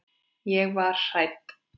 Ég var hrædd.